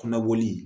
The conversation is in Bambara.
Kɔnɔboli